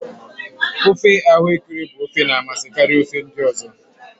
ofe ahuekere bụ ofe na amasị karịa ofe ndị ọzọ